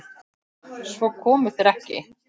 Svo komu þeir ekki.